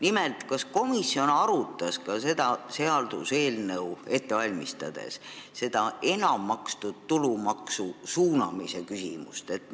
Nimelt, kas komisjon arutas seda seaduseelnõu ette valmistades ka enam makstud tulumaksu suunamise küsimust?